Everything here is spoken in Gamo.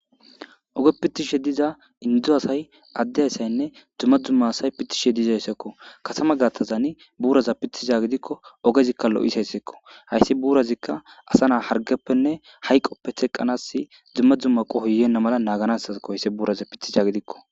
Oge pittishe diza indu asay addey asaynne dzumma dzumma asay pitishe dizayssekko kasama gatazani buuraza pithiza gidikko ogezikka lo'isayssekko hayssi buurazikka asa naa hargeppenne hayqoppe theqqanasi dzumma dzumma qohoyenna mala naaganasakohoysse buuraza pithisha gidikko.